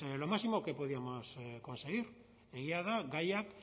lo máximo que podíamos conseguir egia da gaiak